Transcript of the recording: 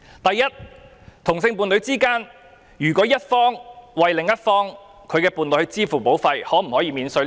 第一，同性伴侶的一方為另一方購買自願醫保，可否獲得扣稅？